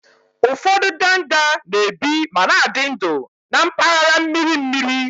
Ụfọdụ ndanda na-ebi ma na-adị ndụ na mpaghara mmiri mmiri